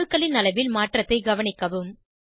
அணுக்களின் அளவில் மாற்றத்தை கவனிக்கவும்